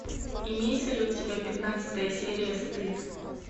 имеется ли у тебя пятнадцатая серия стыд